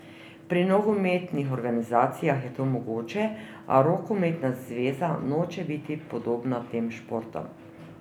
Pri nogometnih organizacijah je to mogoče, a rokometna zveza noče biti podobna tem športom.